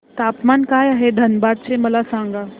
तापमान काय आहे धनबाद चे मला सांगा